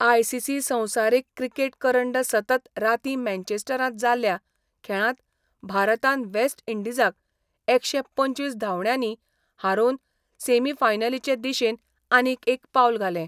ICC संवसारीक cricket करंड सतत रातीं मॅचेस्टरांत जाल्ल्या खेळांत भारतान वेस्ट इंडीजाक एकशे पंचवीस धांवड्यांनी हारोवन सेमीफायनलीचे दिशेन आनीक एक पावल घालें.